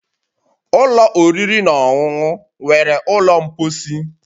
Ụlọ oriri na ọṅụṅụ nwere ụlọ mposi